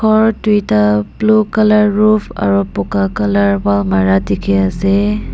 ghor duita blue colour roof aru boka colour wall mara dekhi ase.